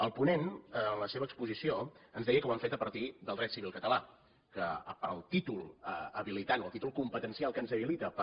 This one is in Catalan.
el ponent en la seva exposició ens deia que ho han fet a partir del dret civil català que el títol habilitant el títol competencial que ens habilita per